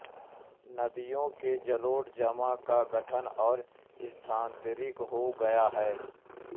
नदियों के जलोढ़ जमा का गठन और स्थानांतरित हो गया है